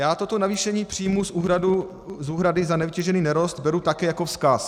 Já toto navýšení příjmů z úhrady za nevytěžený nerost beru také jako vzkaz.